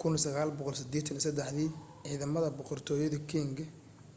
1683 dii ciidamada boqortooyadii qing